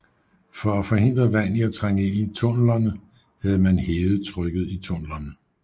For at forhindre vand i at trænge ind i tunnelerne havde man hævet trykket i tunnelerne